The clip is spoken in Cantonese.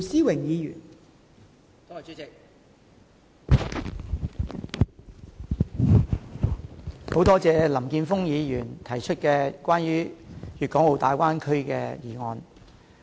代理主席，感謝林健鋒議員提出關於粵港澳大灣區的議案。